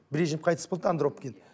брежнев қайтыс болды да андропов келді